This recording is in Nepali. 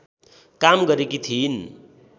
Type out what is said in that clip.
काम गरेकी थिइन्